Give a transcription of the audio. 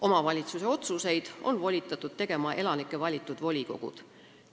Omavalitsuse otsuseid on volitatud tegema elanike valitud volikogud.